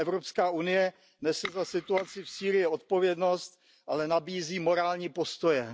EU nese za situaci v Sýrii odpovědnost, ale nabízí morální postoje.